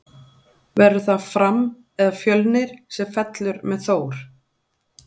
Verður það Fram eða Fjölnir sem fellur með Þór?